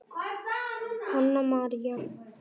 Hanna María.